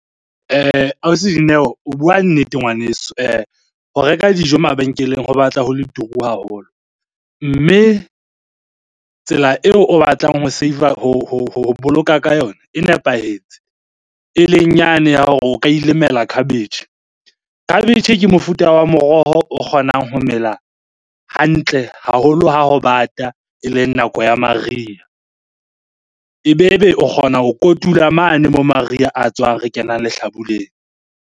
Ausi Dineo o bua nnete ngwaneso. Ho reka dijo mabenkeleng ho batla ho le turu haholo mme tsela eo o batlang ho save-a, ho boloka ka yona e nepahetse. Eleng yane ya hore o ka ilemela khabetjhe. Khabetjhe ke mofuta wa moroho o kgonang ho mela hantle haholo ha ho bata, eleng nako ya mariha. Ebebe o kgona ho kotula mane moo mariha a tswang re kenang lehlabuleng.